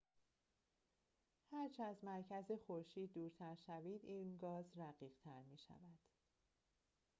هرچه از مرکز خورشید دورتر شوید این گاز رقیق‌تر می‌شود